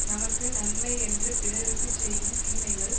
நமக்கு நன்மை என்று பிறருக்கு செய்யும் தீமைகள்